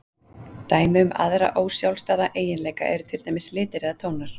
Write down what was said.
Dæmi um aðra ósjálfstæða eiginleika eru til dæmis litir eða tónar.